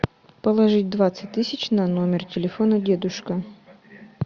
положить двадцать тысяч на номер телефона дедушка